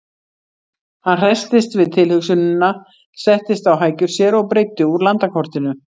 Hann hresstist við tilhugsunina, settist á hækjur sér og breiddi úr landakortinu.